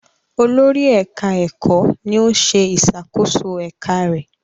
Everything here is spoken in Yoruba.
Olórí ẹka ẹkọ ní òún ṣe ìṣàkóso eka rẹ.